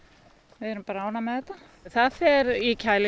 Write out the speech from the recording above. við erum ánægð með þetta það fer í kæli